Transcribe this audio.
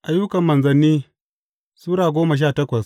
Ayyukan Manzanni Sura goma sha takwas